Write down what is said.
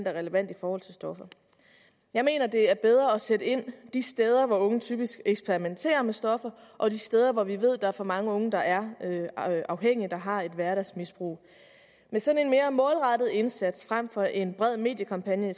er relevant i forhold til stoffer jeg mener at det er bedre at sætte ind de steder hvor unge typisk eksperimenterer med stoffer og de steder hvor vi ved at der er for mange unge der er afhængige og som har et hverdagsmisbrug med sådan en mere målrettet indsats frem for en bred mediekampagne